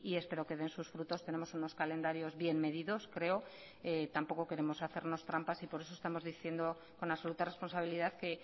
espero que den sus frutos tenemos unos calendarios bien medidos creo tampoco queremos hacernos trampas y por eso estamos diciendo con absoluta responsabilidad que